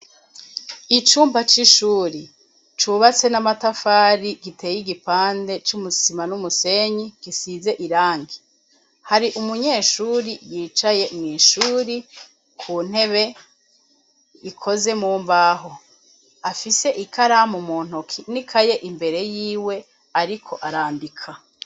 Icumba c'ishuri, cubatse n'amatafari, giteye igipande c'isima n'umusenyi gisize irangi. Hari umunyeshuri yicaye mw'shuri ku ntebe ikoze mu mbaho, afise ikaramu mu ntoki n'ikaye imbere y'iwe ariko arandika.